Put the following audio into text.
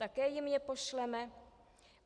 Také jim je pošleme?